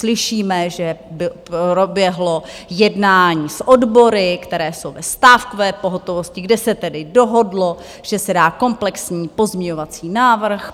Slyšíme, že proběhlo jednání s odbory, které jsou ve stávkové pohotovosti, kde se tedy dohodlo, že se dá komplexní pozměňovací návrh.